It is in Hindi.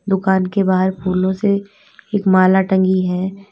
दुकान के बाहर फूलों से एक माला टंगी है।